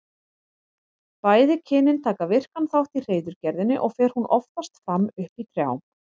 Bæði kynin taka virkan þátt í hreiðurgerðinni og fer hún oftast fram uppi í trjám.